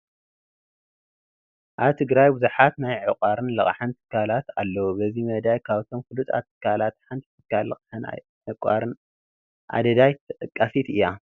ኣብ ትግራይ ብዙሓት ናይ ዕቋርን ልቃሕን ትካላት ኣለዉ፡፡ በዚ መዳይ ካብቶም ፍሉጣት ትካላት ሓንቲ ትካል ልቓሕን ዕቋርን ኣደዳይ ተጠቃሲት እያ፡፡